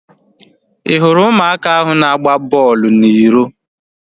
I hụrụ ụmụaka ahu na-agba bọọlụ na iro?